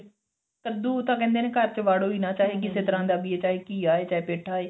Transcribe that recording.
ਕੱਦੂ ਤਾਂ ਕਹਿੰਦੇ ਘਰ ਚ ਵਾੜੋ ਹੀ ਨਾ ਚਾਹੇ ਕਿਸੇ ਤਰ੍ਹਾਂ ਦਾ ਵੀ ਆ ਚਾਹੇ ਘੀਆ ਚਾਹੇ ਪੇਠਾ